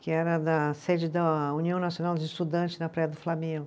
Que era da sede da União Nacional dos Estudantes na Praia do Flamengo.